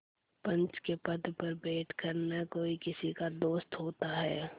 पंच के पद पर बैठ कर न कोई किसी का दोस्त होता है